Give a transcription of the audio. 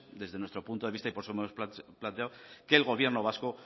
desde nuestro punto de vista y por eso lo hemos planteado que el gobierno vasco